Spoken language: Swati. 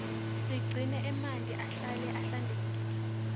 siqune emanti ahlale ahlale ahlantekile